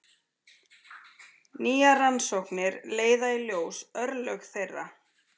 Nýjar rannsóknir leiða í ljós örlög þeirra.